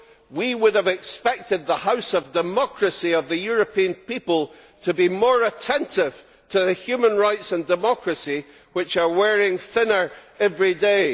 we would have expected the House of Democracy of the European people to be more attentive to the human rights and democracy which are wearing thinner every day.